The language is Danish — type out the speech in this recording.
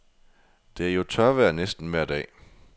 Det er jo tørvejr næsten vejr dag.